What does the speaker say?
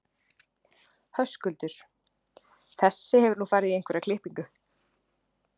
Höskuldur: Þessi hefur nú farið í einhverja klippingu?